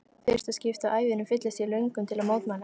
fyrsta skipti á ævinni fyllist ég löngun til að mótmæla.